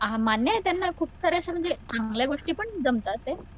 हा मान्य आहे त्यांना खूप साऱ्या अशा म्हणजे चांगल्या गोष्टीपण जमतातयेत.